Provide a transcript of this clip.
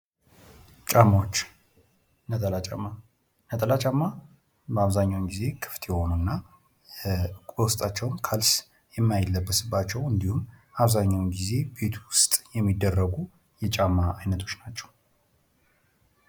ጫማዎች ነጠላ ጫማ በአብዛኛውን ጊዜ ክፍት የሆኑ እና በዉስታቸውም ካልሲ የማይለበስባቸው እንዲሁም አብዛኛውን ጊዜ ቤት ዉስጥ የሚደረጉ የጫማ አይነቶች ናቸው::